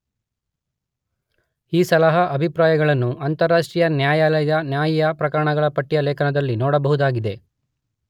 ಈ ಸಲಹಾ ಅಭಿಪ್ರಾಯಗಳನ್ನು ಅಂತರರಾಷ್ಟ್ರೀಯ ನ್ಯಾಯಾಲಯದ ನ್ಯಾಯಿಕ ಪ್ರಕರಣಗಳ ಪಟ್ಟಿಯ ಲೇಖನದಲ್ಲಿ ನೋಡಬಹುದಾಗಿದೆ.